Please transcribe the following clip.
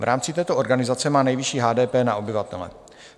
V rámci této organizace má nejvyšší HDP na obyvatele.